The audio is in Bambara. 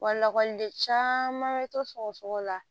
Wa lakɔliden caman bɛ to sɔgɔsɔgɔ la